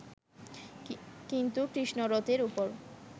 কিন্তু কৃষ্ণ রথের উপর